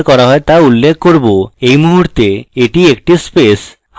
at মুহূর্তে at একটি space